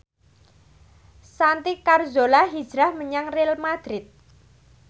Santi Carzola hijrah menyang Real madrid